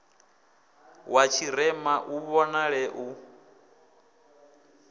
wa tshirema u vhonale u